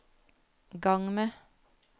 gang med